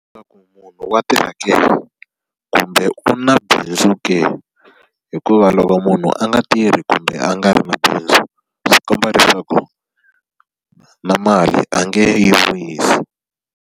munhu wa tirha ke kumbe u na bindzu ke? Hikuva loko munhu a nga tirhi kumbe a nga ri na bindzu, swi komba leswaku na mali a nge yi vuyisi.